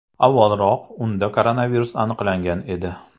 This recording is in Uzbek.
Avvalroq unda koronavirus aniqlangan edi.